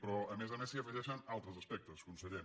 però a més a més s’hi afegeixen altres aspectes conseller